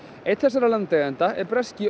einn þessara landeigenda er breski